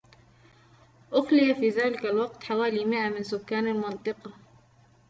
أُخلي في ذلك الوقت حوالي 100 من سكان المنطقة